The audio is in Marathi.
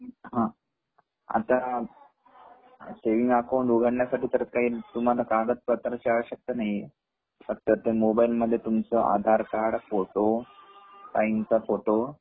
आता सेविंग अकाऊंट उघडण्यासाठी परत काही कागदपत्रची आवश्यकता नाही हे फक्त मोबाईल मध्ये तुमच आधार कार्ड ,फोटो ,साइनचा फोटो